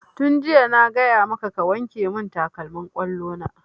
Tun jiya na gaya maka ka wanke mun takalmin ƙwallo na!